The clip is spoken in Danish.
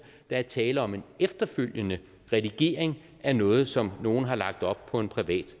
der er tale om en efterfølgende redigering af noget som nogen har lagt op på en privat